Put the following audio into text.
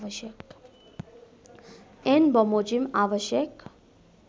ऐन बमोजिम आवश्यक